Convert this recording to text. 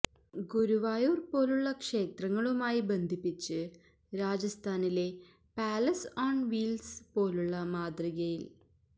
ഗുരുവായൂര് പോലുള്ള ക്ഷേത്രങ്ങളുമായി ബന്ധിപ്പിച്ച് രാജസ്ഥാനിലെ പാലസ് ഓണ് വീല്സ് പോലുള്ള മാതൃകയില്